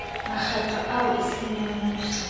mekgatlo eo eseng ya mmuso